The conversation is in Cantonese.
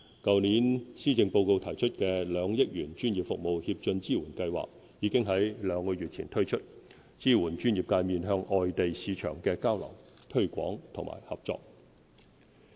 去年施政報告提出的2億元"專業服務協進支援計劃"，已於兩個月前推出，支援專業界面向外地市場的交流、推廣和合作。